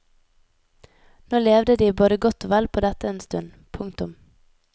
Nå levde de både godt og vel på dette en stund. punktum